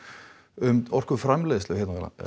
um orkuframleiðslu hérna á